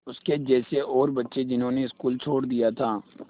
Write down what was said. उसके जैसे और बच्चे जिन्होंने स्कूल छोड़ दिया था